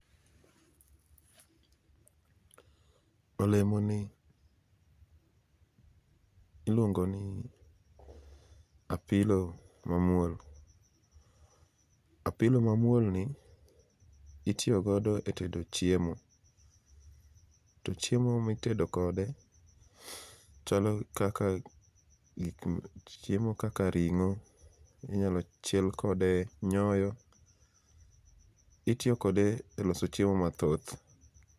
Olemoni iluongo ni apilo mamwol. Apilo mamwol ni itio godo e tedo chiemo. To chiemo mitedo kode chalo kaka gikm chiemo kaka ring'o, inyalo chiel kode nyoyo. Itio kode e loso chiemo mathoth.